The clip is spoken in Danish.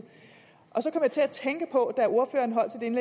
så til at tænke på